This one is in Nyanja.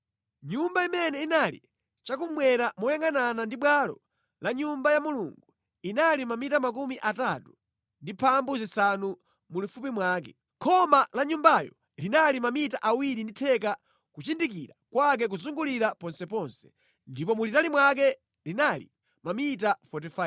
Nyumba imene inali chakummwera moyangʼanana ndi bwalo la Nyumba ya Mulungu inali mamita 35 mulifupi mwake. Khoma la nyumbayo linali mamita awiri ndi theka kuchindikira kwake kuzungulira ponseponse, ndipo mulitali mwake linali mamita 45.